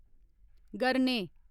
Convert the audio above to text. गरने